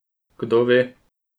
Kdo ve?